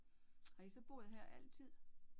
Har I så boet her altid?